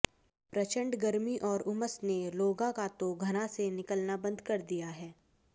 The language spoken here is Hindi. प्रचंड गर्मी और उमस ने लोगांे का तो घरांे से निकलना बंद कर दिया है